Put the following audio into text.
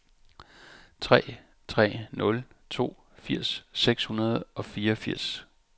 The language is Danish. tre tre nul to firs seks hundrede og fireogfirs